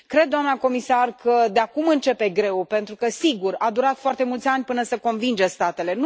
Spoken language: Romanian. Cred, doamnă comisar, că de acum începe greul, pentru că, sigur, a durat foarte mulți ani până să convingem statele.